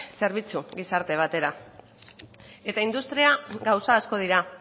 zerbitzu gizarte batera eta industria gauza asko dira